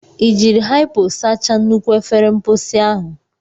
Ị jiri hypo sachaa nnukwu efere mposi ahụ?